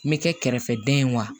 N bɛ kɛ kɛrɛfɛdɛn ye wa